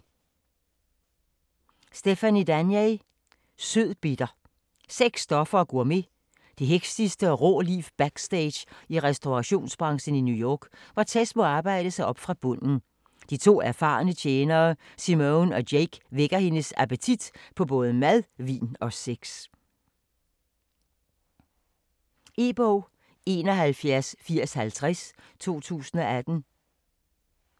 Danler, Stephanie: Sødbitter Sex, stoffer og gourmet. Det hektiske og rå liv backstage i restaurationsbranchen i New York, hvor Tess må arbejde sig op fra bunden. De to erfarne tjenere, Simone og Jake vækker hendes appetit på både mad, vin og sex. E-bog 718050 2018.